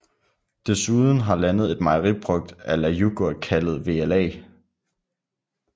Desuden har landet et mejeriprodukt a la yoghurt kaldet vla